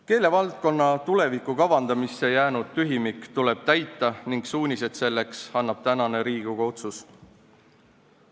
Keelevaldkonna tuleviku kavandamisse jäänud tühimik tuleb täita ning suunised selleks annab tänane Riigikogu otsus.